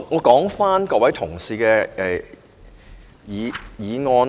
說回各位同事的議案。